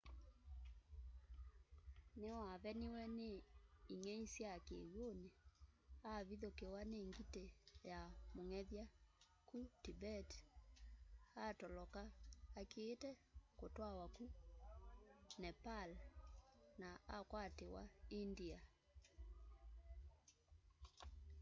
niwaveniwe ni ing'ei sya kiw'uni avithukiwa ni ngiti ya mung'ethya ku tibet atoloka akiite kutw'awa ku nepal na akwatiwa india